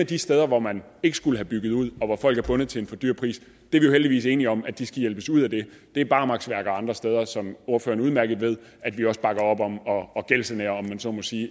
de steder hvor man ikke skulle have bygget ud og hvor folk er bundet til en for dyr pris at vi heldigvis er enige om at de skal hjælpes ud af det det er barmarksværker og andre steder som ordføreren udmærket ved at vi også bakker op om at gældssanere om man så må sige